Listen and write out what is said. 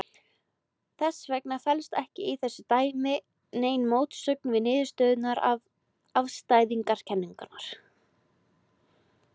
Þess vegna felst ekki í þessu dæmi nein mótsögn við niðurstöður afstæðiskenningarinnar.